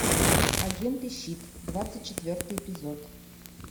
агенты щит двадцать четвертый эпизод